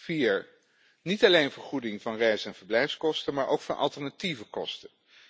Vier niet alleen vergoeding van reis en verblijfskosten, maar ook voor alternatieve kosten.